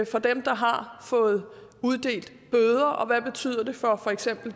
for dem der har fået bøder hvad betyder det for eksempel